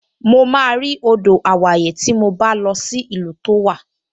Mo máa rí odò àwáyè tí mo bá lọ sí ìlú tó wà